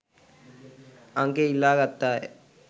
අංකය ඉල්ලා ගත්තාය.